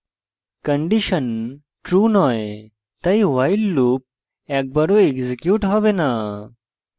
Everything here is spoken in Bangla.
condition true নয় তাই while loop একবারও এক্সিকিউট হবে the